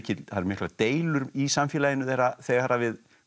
það eru miklar deilur í samfélaginu þeirra þegar við